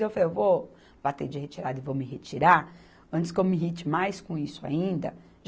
Eu falei, eu vou bater de retirada e vou me retirar antes que eu me irrite mais com isso ainda.